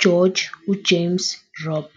GEORGE uJames Robb.